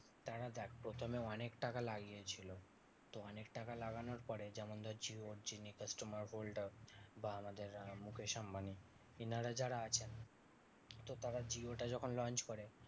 তারা দেখ প্রথমে অনেক টাকা লাগিয়েছিল। তো অনেক টাকা লাগানোর পরে যেমন ধরছি ওর যিনি customer holder বা আমাদের মুকেশ আম্বানি এনারা যারা আছেন তো তারা জিও টা যখন launch করে